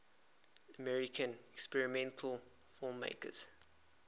american experimental filmmakers